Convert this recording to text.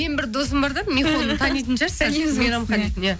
менің бір досым бар да михоны таныйтын шығарсыздар мейрамхан дейтін иә